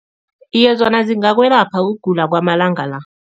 Iye, zona zingakwelapha ukugula kwamalanga la.